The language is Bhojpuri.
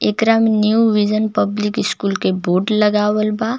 एकरा न्यू_विजन_पब्लिक_स्कूल के बोर्ड लगावल बा.